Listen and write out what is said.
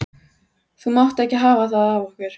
Þú mátt ekki hafa það af okkur